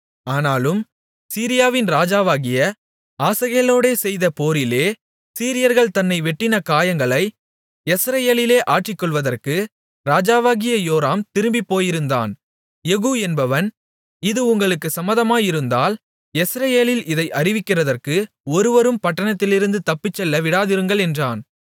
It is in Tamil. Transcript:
ஆனாலும் சீரியாவின் ராஜாவாகிய ஆசகேலோடே செய்த போரிலே சீரியர்கள் தன்னை வெட்டின காயங்களை யெஸ்ரயேலிலே ஆற்றிக்கொள்வதற்கு ராஜாவாகிய யோராம் திரும்பிப்போயிருந்தான் யெகூ என்பவன் இது உங்களுக்குச் சம்மதமாயிருந்தால் யெஸ்ரயேலில் இதை அறிவிக்கிறதற்கு ஒருவரும் பட்டணத்திலிருந்து தப்பிச்செல்ல விடாதிருங்கள் என்றான்